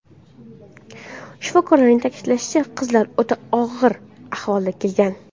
Shifokorlarning ta’kidlashicha, qizlar o‘ta og‘ir ahvolda kelgan.